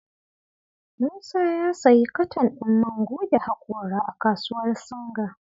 Musa ya sayi katan din man goge hakora a kasuwar Singa.